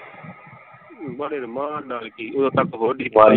ਬਸ ਰਮਾਨ ਨਾਲ ਕਿ ਓਦੋ ਤੱਕ .